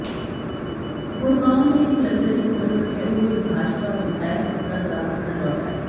गुडग़ांव में एक luxury hotel में ठहरे हुए भाजपा विधायक गत रात घर लौट आये